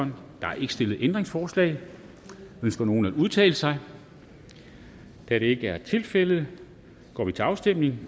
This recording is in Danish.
der er ikke stillet ændringsforslag ønsker nogen at udtale sig da det ikke er tilfældet går vi til afstemning